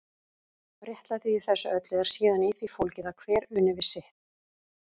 Réttlætið í þessu öllu er síðan í því fólgið að hver uni við sitt.